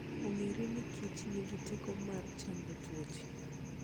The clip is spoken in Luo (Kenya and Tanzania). Ong'ere ni kich nigi teko mar chango tuoche.